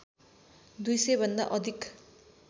२०० भन्दा अधिक